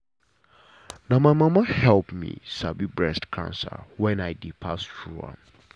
na my mama help me sabi breast cancer when i dey pass through am.